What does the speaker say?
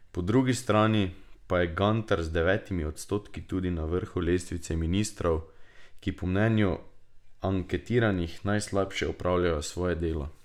Po drugi strani pa je Gantar z devetimi odstotki tudi na vrhu lestvice ministrov, ki po mnenju anketiranih najslabše opravljajo svoje delo.